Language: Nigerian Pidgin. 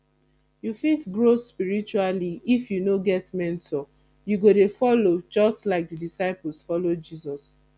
you no fit grow spiritually if you no get mentor you go dey follow just like the disciples follow jesus